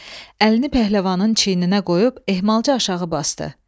Əlini pəhləvanın çiyninə qoyub ehmalca aşağı basdı.